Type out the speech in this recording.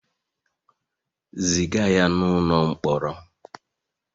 Ziga ya n'ụlọ mkpọrọ!